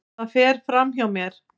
Það fer fram hjá mér.